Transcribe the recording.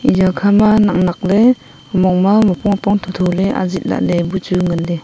eya khama naknakley omong ma muapong muapong tho tholey azit lah buchu nganley.